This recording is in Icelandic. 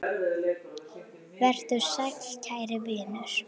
Vertu sæll kæri vinur.